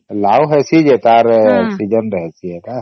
ଲାଉ ହେଇସି ଯେ ତାର season ରେ ହେଇସି ସେତ